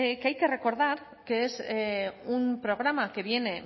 que hay que recordar que es un programa que viene